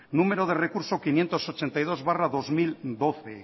número de recurso quinientos ochenta y dos barra dos mil doce